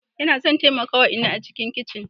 Ina son taimaka wa inna a cikin kicin.